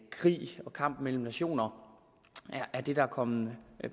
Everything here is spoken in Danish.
krig og kamp mellem nationer er det der er kommet